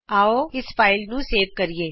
ਆਉ ਇਸ ਫਾਈਲ ਨੂੰ ਸੇਵ ਕਰੀਏ